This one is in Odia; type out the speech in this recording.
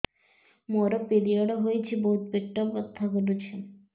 ମୋର ପିରିଅଡ଼ ହୋଇଛି ବହୁତ ପେଟ ବଥା କରୁଛି